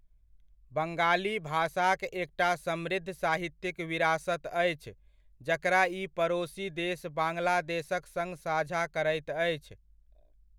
बङ्गाली भाषाक एकटा समृद्ध साहित्यिक विरासत अछि जकरा ई पड़ोसी देश बाङ्ग्लादेशक सङ्ग साझा करैत अछि।